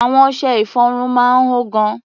Àwọn ọṣẹ-ìfọrun máa ń hó gan.